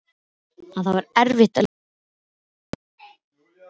En það er erfitt að lýsa Þuru.